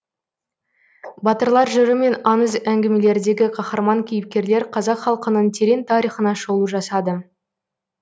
батырлар жыры мен аңыз әңгімелердегі қаһарман кейіпкерлер қазақ халқының терең тарихына шолу жасады